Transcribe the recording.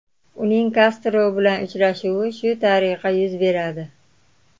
Uning Kastro bilan uchrashuvi shu tariqa yuz beradi.